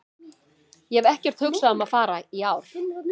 Ég hef ekkert hugsað um að fara í ár.